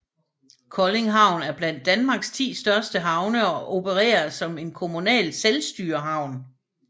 Kolding Havn er blandt Danmarks 10 største havne og opererer som en kommunal selvstyrehavn